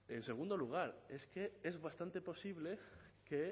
en segundo lugar es que es bastante posible que